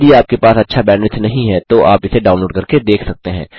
यदि आपके पास अच्छा बैंडविड्थ नहीं है तो आप इसे डाउनलोड करके देख सकते हैं